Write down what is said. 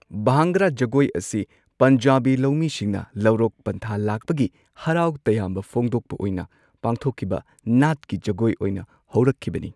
ꯚꯥꯡꯒ꯭ꯔꯥ ꯖꯒꯣꯏ ꯑꯁꯤ ꯄꯟꯖꯥꯕꯤ ꯂꯧꯃꯤꯁꯤꯡꯅ ꯂꯧꯔꯣꯛ ꯄꯟꯊꯥ ꯂꯥꯛꯄꯒꯤ ꯍꯔꯥꯎ ꯇꯌꯥꯝꯕ ꯐꯣꯡꯗꯣꯛꯄ ꯑꯣꯏꯅ ꯄꯥꯡꯊꯣꯛꯈꯤꯕ ꯅꯥꯠꯀꯤ ꯖꯒꯣꯢ ꯑꯣꯢꯅ ꯍꯧꯔꯛꯈꯤꯕꯅꯤ꯫